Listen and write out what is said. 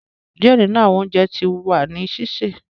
Diẹ ninu awọn ounjẹ ti wa ni sise